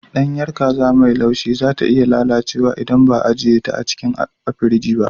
Ɗanyar kaza mai laushi za ta iya lalacewa idan ba a ajiye ta a cikin firji ba.